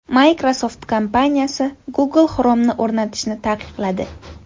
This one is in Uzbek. Microsoft kompaniyasi Google Chrome’ni o‘rnatishni taqiqladi.